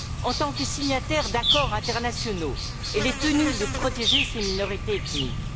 En tant que signataire d'accords internationaux, elle est tenue de protéger ses minorités ethniques.